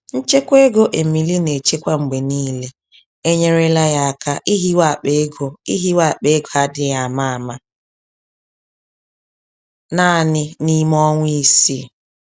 Nchekwa ego Emily na-echekwa mgbe niile, enyerela ya áká ihiwe akpa ego ihiwe akpa ego adịghị àmà-àmà, naanị n'ime ọnwa isii.